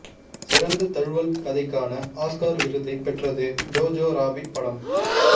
சிறந்த தழுவல் கதைக்கான ஆஸ்கர் விருதை பெற்றது ஜோஜோ ராபிட் படம்